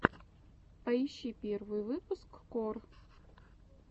поищи первый выпуск кор